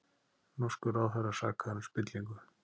Norskur ráðherra sakaður um spillingu